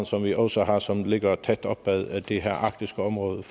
som vi også har som ligger tæt op ad det her arktiske område